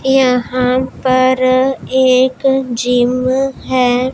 यहां पर एक जिम है।